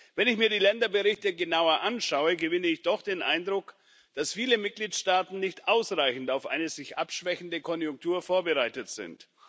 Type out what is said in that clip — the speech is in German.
Wenn ich mir die Länderberichte genauer anschaue, gewinne ich doch den Eindruck, dass viele Mitgliedstaaten nicht ausreichend auf eine sich abschwächende Konjunktur vorbereitet sind.